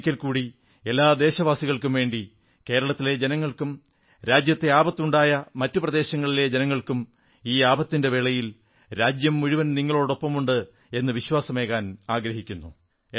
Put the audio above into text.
ഞാൻ ഒരിക്കൽക്കൂടി എല്ലാ ദേശവാസികൾക്കുംവേണ്ടി കേരളത്തിലെ ജനങ്ങൾക്കും രാജ്യത്തെ ആപത്തുണ്ടായ മറ്റു പ്രദേശങ്ങളിലെ ജനങ്ങൾക്കും ഈ വിപത്തിന്റെ വേളയിൽ രാജ്യംമുഴുവൻ നിങ്ങളോടൊപ്പമുണ്ട് എന്ന് വിശ്വാസമേകാൻ ആഗ്രഹിക്കുന്നു